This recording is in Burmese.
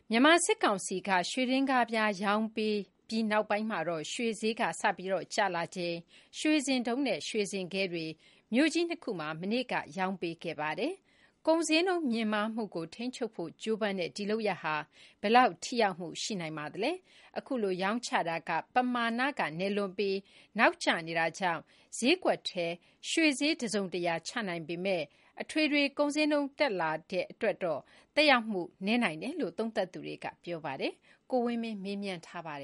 မြန်မာစစ်ကောင်စီအနေနဲ့ ရွှေဒင်္ဂါးပြားရောင်းပေးအပြီး ရွှေဈေးစကျလာချိန် ရွှေစင်တုံးနဲ့ ရွှေစင်ခဲတွေ မြို.ကြီး ၂ ခုမှာ မနေ့က ရာင်းပေးခဲ့ပါတယ်။ ကုန်ဈေးနှုန်းမြင့်မားမှုကို ထိန်းချုပ်ဖို့ကြိုးပမ်းတဲ့ ဒီလုပ်ရပ်ဟာ ဘယ်လောက်ထိရောက်မှုရှိနိုင်ပါသလဲ။ အခုလို ရောင်းချတာက ပမာဏကနည်းလွန်းပြီး၊ နောက်ကျနေတာကြောင့် ဈေးကွက်ထဲ ရွှေဈေး တစုံတရာ ချနိုင်ပေမဲ့၊ အထွေထွေ ကုန်ဈေးနှုန်းတက်တာအတွက်တော့ သက်ရောက်မှုနည်းနိုင်တယ်လို့ သုံးသပ်သူတွေက ဆိုပါတယ်။ ကိုဝင်းမင်းက မေးထားပါတ